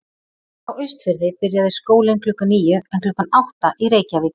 Á Austurfirði byrjaði skólinn klukkan níu en klukkan átta í Reykjavík.